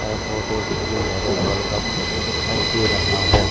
ऐ photo किसी marriage hall का photo दिखाई दे रहा है।